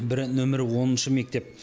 бірі нөмірі оныншы мектеп